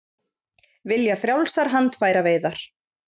Vilja frjálsar handfæraveiðar